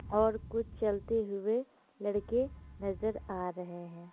और कुछ चलते हुए लड़के नजर आ रहे हैं।